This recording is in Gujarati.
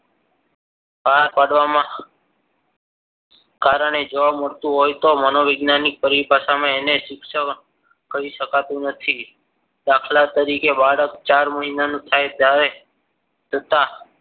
બહાર કાઢવામાં કારણે જોવા મળતું. હોય તો મનો વૈજ્ઞાનિક પરિભાષામાં એને શિક્ષણ કરી શકાતું નથી દાખલા તરીકે બાળક ચાર મહિનાનું થાય ત્યારે જોતા